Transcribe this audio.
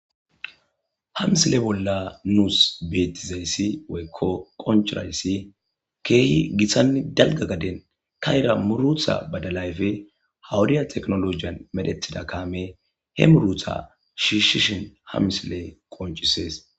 Ha misile bolla nuus beetizayssi woykko qonchurayssi keehi githanni dalga gaden ka ira murutha badalayfe hawudiya teknolojiyan medhethida kaame he murutha shiishishin hamsile qoncisees.